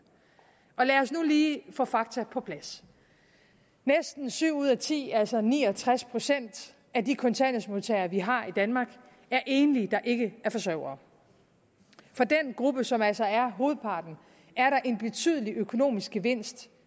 lad os nu lige få fakta på plads næsten syv ud af ti altså ni og tres procent af de kontanthjælpsmodtagere vi har i danmark er enlige der ikke er forsørgere for den gruppe som altså er hovedparten er der en betydelig økonomisk gevinst